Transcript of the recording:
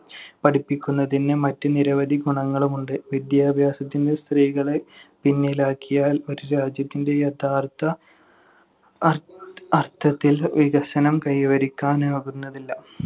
പഠിപ്പിക്കുന്നതിന് മറ്റ് നിരവധി ഗുണങ്ങളുമുണ്ട്. വിദ്യാഭ്യാസത്തിന് സ്ത്രീകളെ പിന്നിലാക്കിയാൽ ഒരു രാജ്യത്തിന്‍റെ യഥാർത്ഥ അര്‍~ അർത്ഥത്തിൽ വികസനം കൈവരിക്കാനാകുന്നതല്ല.